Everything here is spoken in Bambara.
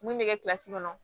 Mun bɛ kɛ kɔnɔ